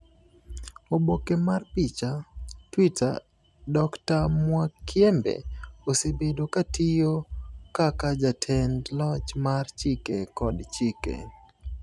Oboke mar picha, TWITTER Dr Mwakyembe osebedo ka otiyo kaka Jatend Loch mar Chike kod Chike.